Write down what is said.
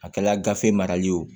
A kɛla gafe mara ye o